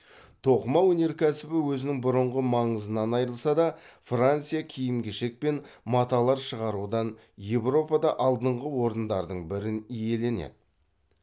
тоқыма өнеркәсібі өзінің бұрынғы маңызынан айрылса да франция киім кешек пен маталар шығарудан еуропада алдыңғы орындардың бірін иеленеді